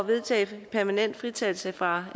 vedtage permanent fritagelse fra